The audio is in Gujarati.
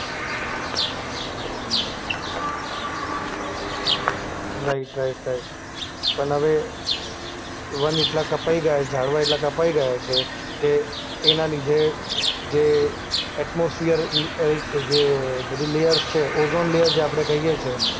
Right right right. પણ હવે વન એટલા કપાય ગયા, ઝાડવા એટલા કપાય છે કે એના લીધે જે એટમોસફીઅરની અ જે બધી લેયર્સ છે ઓઝોન લેયર જે આપણે કહીએ છે